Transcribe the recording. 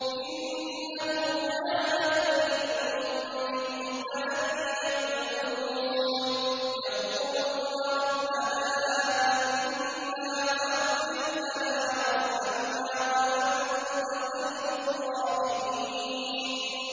إِنَّهُ كَانَ فَرِيقٌ مِّنْ عِبَادِي يَقُولُونَ رَبَّنَا آمَنَّا فَاغْفِرْ لَنَا وَارْحَمْنَا وَأَنتَ خَيْرُ الرَّاحِمِينَ